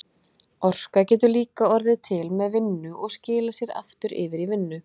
Orka getur líka orðið til með vinnu og skilað sér aftur yfir í vinnu.